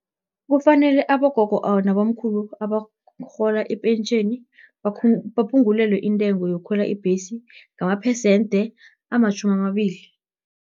Kufanele abogogo, nabomkhulu, abarhola ipentjheni, baphungulelwe intengo yokukhwela ibhesi, ngamaphesende amatjhumamabili.